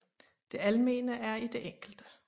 Det almene er i det enkelte